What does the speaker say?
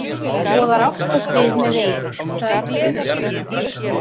Boðar ást og frið með veifi